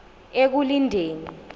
ekulindeni